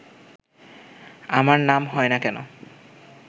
আমার নাম হয় না কেন